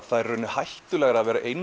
það er í rauninni hættulegra að vera